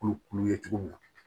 Kurukuru ye cogo min na